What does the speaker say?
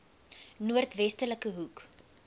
noord westelike hoek